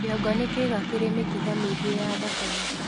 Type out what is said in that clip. kĩongo ni kiiga kiri mĩkiha miingi ya thakame